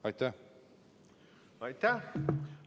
Aitäh!